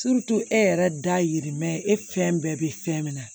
e yɛrɛ dayirimɛ e fɛn bɛɛ bɛ fɛn min na